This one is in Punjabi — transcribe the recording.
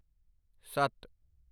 ਸੱਤ